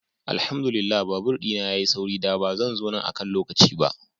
Alhamdu lillah babur dina ya yi sauri, da ba zan zo nan akan lokaci ba.